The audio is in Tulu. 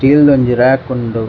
ಸ್ಟೀಲ್ ದ ಒಂಜಿ ರಾಕ್ ಉಂಡು .